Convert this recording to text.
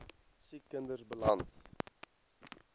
siek kinders beland